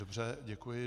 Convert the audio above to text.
Dobře, děkuji.